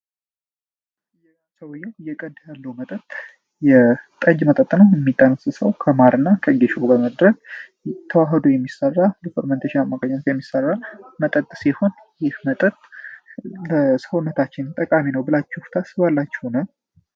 ሰውየው እየቀዳ ያለው መጠጥ ጠጅ ነው። የሚጠነሰሰው ከማር እና ከጌሾ ጋራ ተዋህዶ የሚሰራ በፈርመንቴሽን አማካኝነት የሚሰራ መጠጥ ሲሆን ይህ መጠጥ ለሰውነታችን ጠቃሚ ነው ብላችሁ ታስባላችሁን?